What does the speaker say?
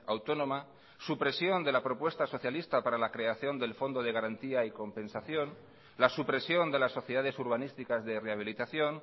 autónoma supresión de la propuesta socialista para la creación del fondo de garantía y compensación la supresión de las sociedades urbanísticas de rehabilitación